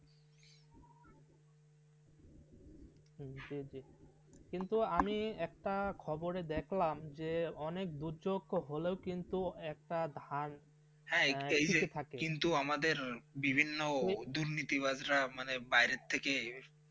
কিন্তু আমি একটা খবরে দেখলাম যে অনেক দুর্যোগ্য হলেই কিন্তু একটা ধান আসতে থাকে. হ্যাঁ কিন্তু আমাদের বিভিন্ন দুর্নীতির বাজরা মানে বাইরে থেকে.